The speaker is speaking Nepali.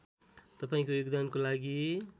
तपाईँको योगदानको लागि